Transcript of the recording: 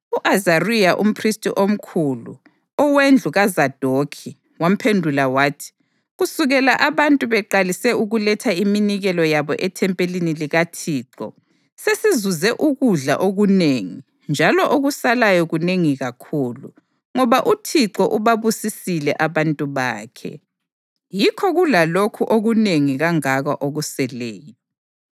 u-Azariya umphristi omkhulu, owendlu kaZadokhi wamphendula wathi, “Kusukela abantu beqalise ukuletha iminikelo yabo ethempelini likaThixo, sesizuze ukudla okunengi njalo okusalayo kunengi kakhulu, ngoba uThixo ubabusisile abantu bakhe, yikho kulalokhu okunengi kangaka okuseleyo.”